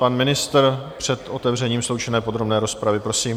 Pan ministr před otevřením sloučené podrobné rozpravy, prosím.